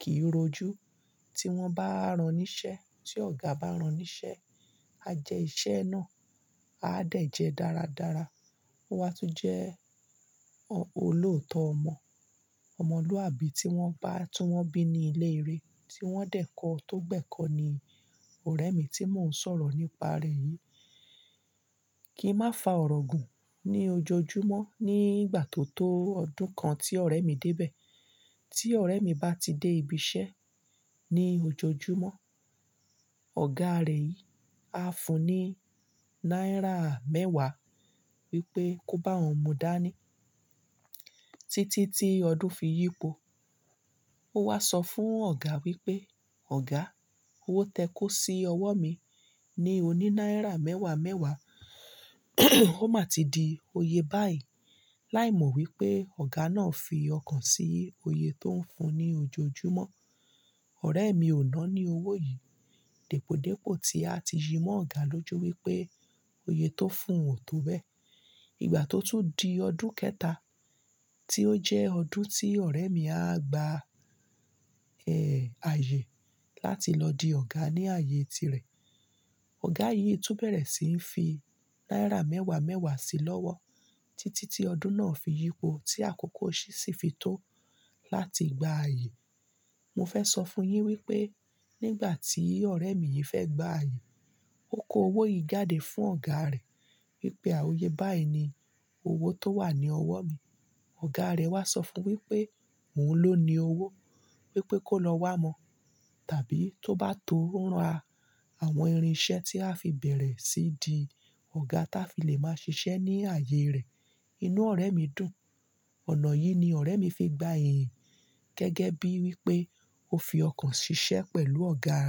kì í rojú tí wọ́n bá rán níṣẹ́, tí ọ̀gá bá rán níṣẹ́, a jẹ iṣẹ́ náà, a dẹ̀ jẹ dáradára. Ó wá tún jẹ́ olóòótọ́ ọmọ, ọmọlúàbí tí wọ́n bá tún wọ́n bí ní ilé eré tí wọ́n dẹ̀ kọ́ tó gbẹ́kọ́ ni ọ̀rẹ́ mi tí mò ń sọ̀rọ̀ nípa rẹ̀ yìí. Kí n má fa ọ̀rọ̀ gùn ní ojoojúmọ́ ní ìgbà tó tó ọdún kan tí ọ̀rẹ́ mi dé bẹ̀, tí ọ̀rẹ́ mi bá ti dé ibi iṣẹ́ ní ojoojúmọ́, ọ̀gá rẹ̀ yìí á fún un ní náírà mẹ́wàá wípé kó bá òun mu dání títí tí ọdún fi yípo. Ó wá sọ fún ọ̀gá wípé "ọ̀gá, owó tẹ kó sí ọwọ́ mi ni òní náírà mẹ́wàá mẹ́wàá, ó máa ti di oyè báyìí" láìmọ̀ wípé ọ̀gá náà fi ọkàn sí i oyè tó ń fún un ní ojoojúmọ́. Ọ̀rẹ́ mi ò náání owó yìí. Dèpòdépò tí a ti yi mọ́ ọ̀gá lójú wípé oyè tó fún un ò tó bẹ́ẹ̀. Ìgbà tó tún di ọdún kẹta tí ó jẹ́ ọdún tí ọ̀rẹ́ mi á gba ẹ̀ ààyè láti lọ di ọ̀gá ní ààyè tirẹ̀, ọ̀gá yìí tún bẹ̀rẹ̀ sí í fi náírà mẹ́wàá mẹ́wàá sí i lọ́wọ́ títí tí ọdún náà fi yípo tí àkókò ṣìṣì fi tó láti gba ààyè. Mo fẹ́ sọ fún un yín wípé nígbà tí ọ̀rẹ́ mi yìí fẹ́ gba ààyè, ó kó owó yìí jáde fún ọ̀gá rẹ̀ wípé "à oye, báyìí ni owó tó wà ní ọwọ́ mi". Ọ̀gá rẹ̀ wá sọ fún wípé "òun ló ni owó, wípé kó lọ wá mo tàbí tó bá tóo ra àwọn irinṣẹ́ tí á fi bẹ̀rẹ̀ sí í di ọ̀gá tá fi lè máa ṣiṣẹ́ ní ààyè rẹ̀". Inú ọ̀rẹ́ mi dùn. Ọ̀nà yìí ni ọ̀rẹ́ mi fi gba iyì gẹ́gẹ́ bí wípé ó fi ọkàn ṣiṣẹ́ pẹ̀lú ọ̀gá rẹ̀.